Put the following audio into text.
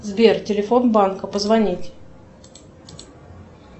сбер телефон банка позвонить